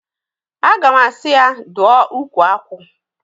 Aga m asị ya, dụọ ukwu akwụ!